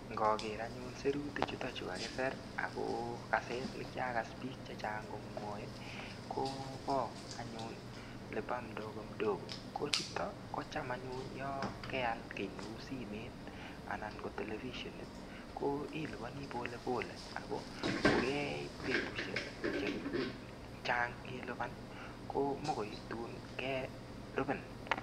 Ngager anyun sirutichuto kakisir ago kaset ne kiagas biik chechang anyun komwoe, kobo anyun lipa mdogomdogo. Kochuto kocham anyun yo keal kiy neu simmet ana ko telefisienit ko ilupani polepole, ago kokeit betusiek che chang ilupan ko mokoi tun kerupin.